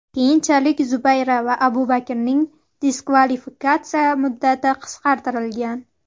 Keyinchalik Zubayra va Abubakarning diskvalifikatsiya muddati qisqartirilgan.